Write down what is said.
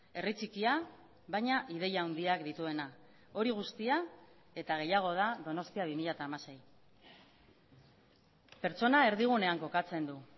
herri txikia baina ideia handiak dituena hori guztia eta gehiago da donostia bi mila hamasei pertsona erdigunean kokatzen du